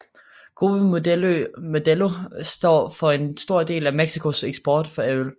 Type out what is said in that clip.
Grupo Modelo står for en stor del af Mexicos eksport af øl